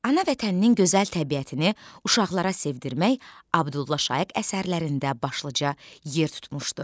Ana vətəninin gözəl təbiətini uşaqlara sevdirmək Abdullah Şaiq əsərlərində başlıca yer tutmuşdu.